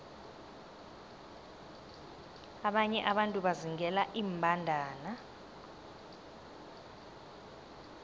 abanye abantu bazingela iimbandana